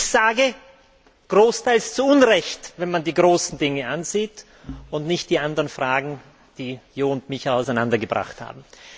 Ich sage, großteils zu Unrecht, wenn man die großen Dinge ansieht und nicht die anderen Fragen, die Jo Leinen und mich auseinandergebracht haben.